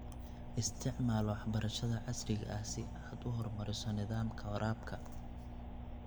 Isticmaal waxbarashada casriga ah si aad u horumariso nidaamka waraabka.